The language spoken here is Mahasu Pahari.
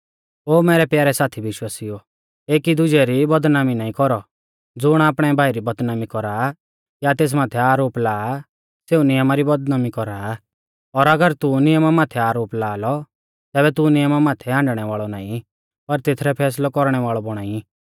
ओ मैरै प्यारै साथी विश्वासिउओ एकी दुजै री बदनामी नाईं कौरौ ज़ुण आपणै भाई री बदनामी कौरा या तेस माथै आरोप ला सेऊ नियमा री बदनामी कौरा आ और नियमा माथै आरोप लाआ और अगर तू नियमा माथै आरोप लाअलौ तैबै तू नियमा माथै हाण्डणै वाल़ौ नाईं पर तेथरौ फैसलै कौरणै वाल़ौ बौणा ई